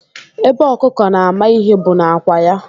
Ebe ọkụkọ na-ama ihe bụ n'ákwà ya